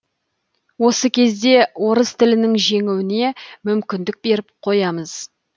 осы кезде орыс тілінің жеңуіне мүмкіндік беріп қоямыз